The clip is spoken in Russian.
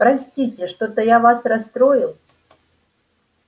простите что-то я вас расстроил